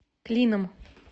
клином